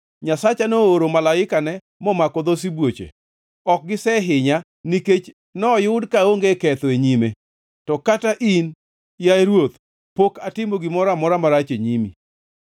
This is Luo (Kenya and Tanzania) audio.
Nyasacha nooro malaikane, momako dho sibuoche. Ok gisehinya, nikech noyud ka aonge ketho e nyime, to kata in, yaye ruoth, pok atimo gimoro amora marach e nyimi.